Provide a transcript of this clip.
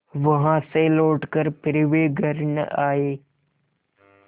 वहाँ से लौटकर फिर वे घर न आये